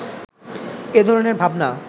এ ধরনের ভাবনা